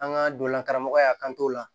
An ka donna karamɔgɔya a kan t'o la